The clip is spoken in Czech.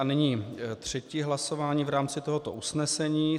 A nyní třetí hlasování v rámci tohoto usnesení.